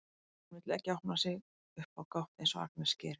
Hún vill ekki opna sig upp á gátt eins og Agnes gerir.